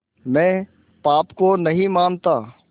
मैं पाप को नहीं मानता